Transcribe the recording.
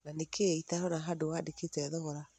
Na nĩkĩĩ itarona handũwandĩkĩte thogora?